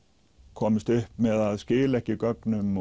komist upp með að skila ekki gögnum